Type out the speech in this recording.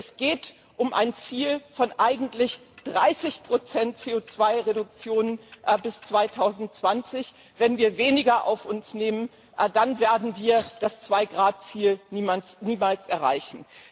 Es geht um ein Ziel von eigentlich 30 CO 2 Reduktion bis 2020, wenn wir weniger auf uns nehmen, dann werden wir das 2 Grad Ziel niemals erreichen.